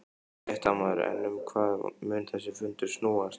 Fréttamaður: En um hvað mun þessi fundur snúast?